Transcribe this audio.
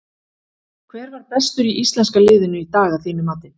Hver var bestur í íslenska liðinu í dag að þínu mati?